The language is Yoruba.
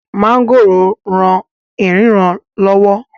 mọ́ngòròń rán ìríran lọ́wọ́